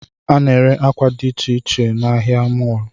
A na-ere akwa dị icheiche n'ahịa mọlụ